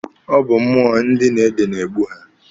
Ọ bụ mmụọ ndị na-ede na-egbu ha.